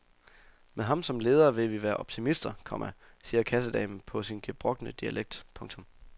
Med ham som leder vil vi være optimister, komma siger kassedamen på sin gebrokne dialekt. punktum